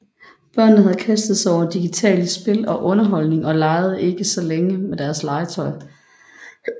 Børnene havde kastet sig over digitale spil og underholdning og legede ikke så længe med deres legetøj